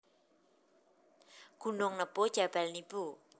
Gunung Nebo Jabal Nibu